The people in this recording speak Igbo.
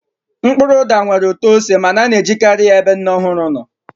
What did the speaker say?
Mkpụrụ ụda nwere ụtọ ose ma a na-ejikarị ya n'ebe nne ọhụrụ nọ